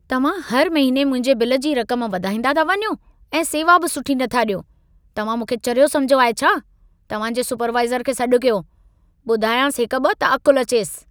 तव्हां हर महिने मुंहिंजे बिल जी रक़म वधाईंदा था वञो ऐं सेवा बि सुठी नथा ॾियो। तव्हां मूंखे चरियो समिझो आहे छा? तव्हांजे सुपरवाइज़र खे सॾ कयो। ॿुधायांसि हिकु-ॿ त अक़ुलु अचेसि।